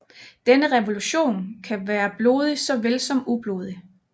Denne revolution kan være blodig såvel som ublodig